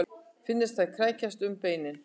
Finnast þeir krækjast um beinin.